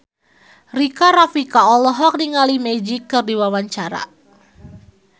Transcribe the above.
Rika Rafika olohok ningali Magic keur diwawancara